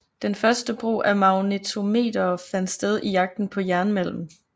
Den første brug af magnetometere fandt sted i jagten på jernmalm